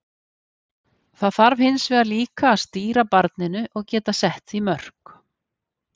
Það þarf hins vegar líka að stýra barninu og geta sett því mörk.